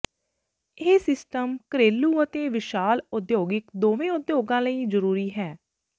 ਇਹ ਸਿਸਟਮ ਘਰੇਲੂ ਅਤੇ ਵਿਸ਼ਾਲ ਉਦਯੋਗਿਕ ਦੋਵੇਂ ਉਦਯੋਗਾਂ ਲਈ ਜ਼ਰੂਰੀ ਹੈ